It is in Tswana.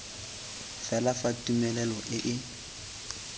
fela fa tumelelo e e